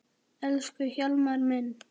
Elsku Hjálmar minn.